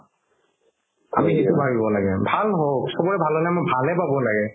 চবৰে ভাল হ'লে আমি ভাল হে পাব লাগে